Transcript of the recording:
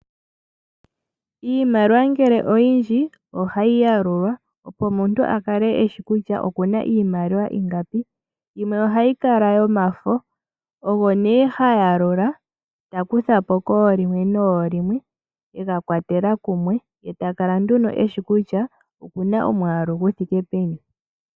Iimaliwa ngele oyindji ohayi yalulwa opo omuntu a kale eshi kutya okuna iimaliwa ingapi. Yimwe ohayi kala yomafo, ogo nee ha yalula takutha po koolimwe noolimwe, ega kwatela kumwe ye ta kala nduno eshi kutya okuna omwaalu gu thiike peni.